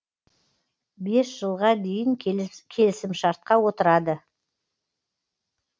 бес жылға дейін келісімшартқа отырады